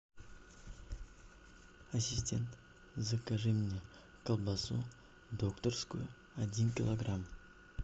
ассистент закажи мне колбасу докторскую один килограмм